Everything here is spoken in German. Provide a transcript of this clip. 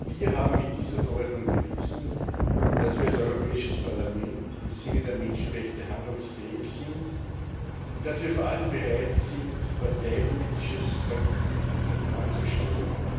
Wir haben mit dieser Verordnung bewiesen, dass wir als Europäisches Parlament im Sinne der Menschenrechte handlungsfähig sind und dass wir vor allem bereit sind, parteipolitisches Kalkül hintanzustellen.